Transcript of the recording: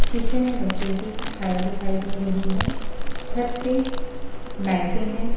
शीशे में बच्चों की छाया दिखाई दे रही है छत पे लाइटें हैं।